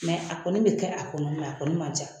a kɔni be kɛ a kɔnɔ, a kɔni man ca.